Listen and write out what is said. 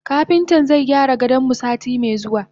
Kapintan zaigyara gadonmu sati me zuwa.